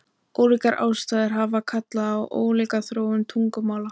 Ólíkar aðstæður hafa kallað á ólíka þróun tungumála.